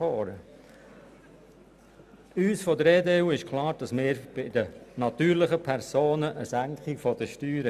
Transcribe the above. Uns von der EDU ist es klar, dass wir die Steuern der natürlichen Personen senken wollen.